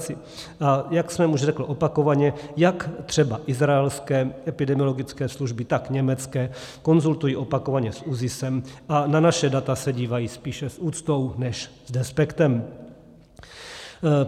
A jak jsem už řekl opakovaně, jak třeba izraelské epidemiologické služby, tak německé konzultují opakovaně s ÚZIS a na naše data se dívají spíše s úctou než s despektem.